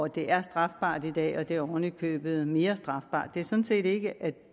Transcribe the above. det er strafbart i dag og at det oven i købet er mere strafbart det er sådan set ikke